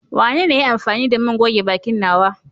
Wanene ya yi amfani da man goge bakin nawa?